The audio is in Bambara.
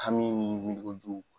Hami ni